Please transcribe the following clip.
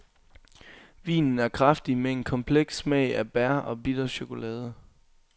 Vinen er kraftig med en kompleks smag af bær og bitter chokolade.